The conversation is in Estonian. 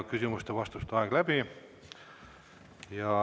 Küsimuste-vastuste aeg sai läbi.